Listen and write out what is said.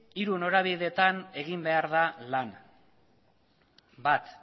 hiru norabidetan egin behar da lan bat